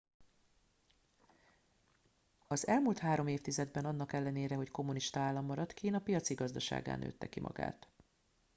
az elmúlt három évtizedben annak ellenére hogy kommunista állam maradt kína piaci gazdasággá nőtte ki magát